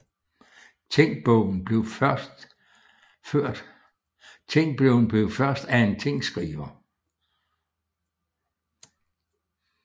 Tingbogen blev først af en tingskriver